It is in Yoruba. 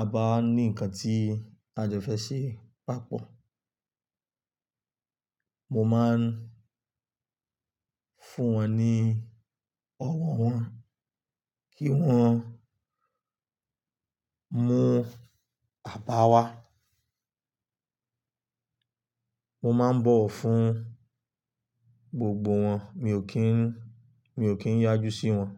a bá ní ǹkan tí a jo fẹ́ ṣe papọ̀. Mo máa ń fún wọn ní ọwọ́ wọn kí wọ́n mú apá wa. Mo máa ń bọ̀wọ̀ fún gbogbo wọn, mi ò kí n, mi ò kí ń yájú sí wọn.